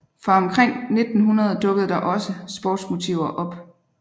Fra omkring 1900 dukkede der også sportsmotiver op